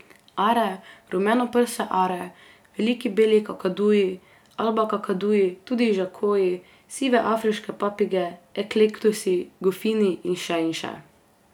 Are, rumenoprse are, veliki beli kakaduji, alba kakaduji, tudi žakoji, sive afriške papige, eklektusi, goffini in še in še.